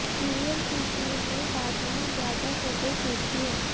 serial की team ने ताजमहल जाकर फोटो शूट किए